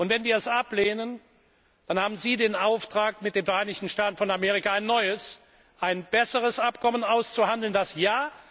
Wenn wir es ablehnen, dann haben Sie den Auftrag, mit den Vereinigten Staaten von Amerika ein neues, ein besseres Abkommen auszuhandeln, das ja!